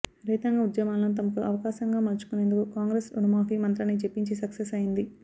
రైతాంగ ఉద్యమాలను తమకు అవకాశంగా మలచుకునేందుకు కాంగ్రెస్ రుణమాఫీ మంత్రాన్ని జపించి సక్సెస్ అయింది